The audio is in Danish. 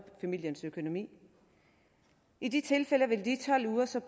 familiens økonomi i de tilfælde vil de tolv uger så